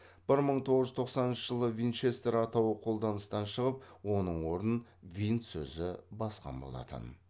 бір мың тоғыз жүз тоқсаныншы жылы винчестер атауы қолданыстан шығып оның орнын винт сөзі басқан болатын